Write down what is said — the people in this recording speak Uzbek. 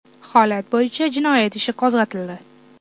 Holat bo‘yicha jinoyat ishi qo‘zg‘atildi.